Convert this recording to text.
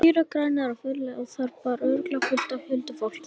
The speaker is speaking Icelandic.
Þær eru grænar og friðsældarlegar og þar býr örugglega fullt af huldufólki.